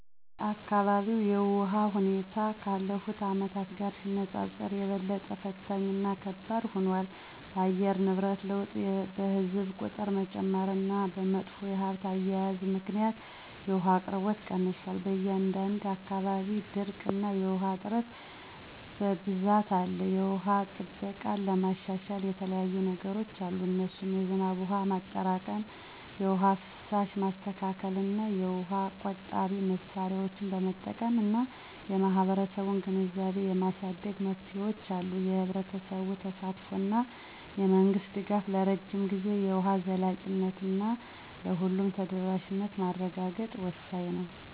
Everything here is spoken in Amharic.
የአካባቢው የውሃ ሁኔታ ካለፉት አመታት ጋር ሲነጻጸር የበለጠ ፈታኝ እና ከባድ ሆኗል። በአየር ንብረት ለውጥ፣ በሕዝብ ቁጥር መጨመር እና በመጥፎ የሀብት አያያዝ ምክንያት የውሃ አቅርቦት ቀንሷል። በአንዳንድ አካባቢዎች ድርቅ እና የውሃ እጥረት በብዛት አለ። የውሃ ጥበቃን ለማሻሻል የተለያዩየ ነገሮች አሉ እነሱም የዝናብ ውሃ ማጠራቀም፣ የውሃ ፍሳሽ ማስተካከል፣ የውሃ ቆጣቢ መሳሪያዎችን መጠቀም እና የህብረተሰቡን ግንዛቤ የማሳደግ መፍትሄዎች አሉ። የህብረተሰቡ ተሳትፎ እና የመንግስት ድጋፍ ለረጅም ጊዜ የውሃ ዘላቂነት እና ለሁሉም ተደራሽነት ማረጋገጥ ወሳኝ ነው